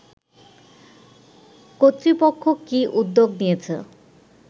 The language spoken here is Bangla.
কর্তৃপক্ষ কি উদ্যোগ নিয়েছে